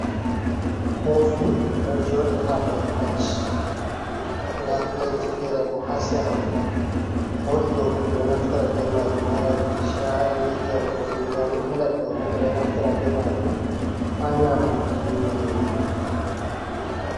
Kofi ɗo joɗi ha ɗow pilet. Nɗa pilet ji fera bo ha sera mun. Kofi ɗo bo, be ɗo naftira be majum ha yaruki sha’i, yaruki ndiyam. Pilet ɗo bo beɗo naftira be majum ha nyamuki nyiri.